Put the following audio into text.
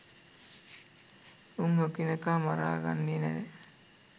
උන් එකිනෙක මරා ගන්නේ නෑ.